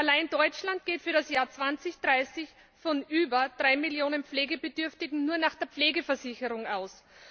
Allein Deutschland geht für das Jahr 2030 von über 3Millionen Pflegebedürftigen in der Pflegeversicherung aus.